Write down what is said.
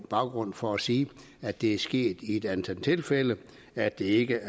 baggrund for at sige at det er sket i et antal tilfælde at det ikke